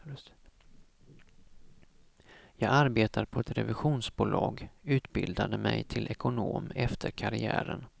Jag arbetar på ett revisionsbolag, utbildade mig till ekonom efter karriären.